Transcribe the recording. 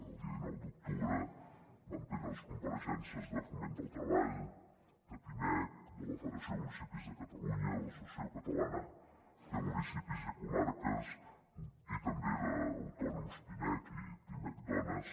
el dia dinou d’octubre vam tenir les compareixences de foment del treball de pimec de la federació de municipis de catalunya i de l’associació catalana de municipis i comarques i també d’autònoms pimec i pimec dones